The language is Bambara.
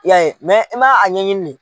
y'a ye i ma a ɲɛɲini le.